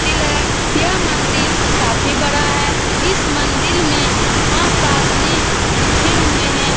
मंदील है। यह मंदील काफी बड़ा है। इस मंदील में माँ साधने लिखे हुए है।